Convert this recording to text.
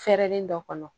Fɛrɛlen dɔ kɔnɔ